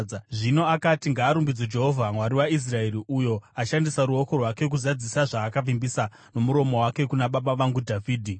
Zvino akati: “Ngaarumbidzwe Jehovha, Mwari waIsraeri, uyo ashandisa ruoko rwake kuzadzisa zvaakavimbisa nomuromo wake kuna baba vangu Dhavhidhi.